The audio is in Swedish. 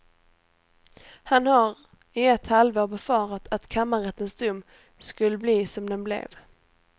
Han har i ett halvår befarat att kammarrättens dom skulle bli som den blev.